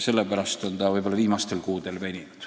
Sellepärast on eelnõu üleandmine viimastel kuudel veninud.